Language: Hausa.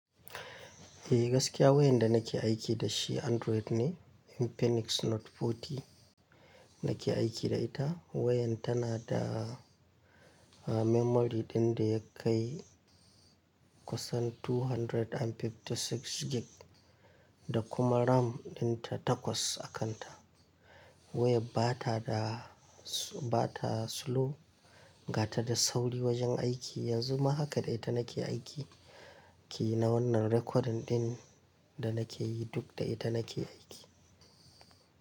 Eh gaskiya wayan da nake aiki da shi Android ne, Infinix Note 40 nake aiki da ita. Wayan tana da, memory ɗin da ya kai kusan 256 gig da kuma RAM ɗin ta takwas a kanta. Wayar bata da, bata slow, ga ta da sauri wajen aiki, yanzu ma haka dai ta nake aiki, ki na wannan recording ɗin da nake yi duk da ita nake aiki.